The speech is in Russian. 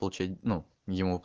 очень ну ему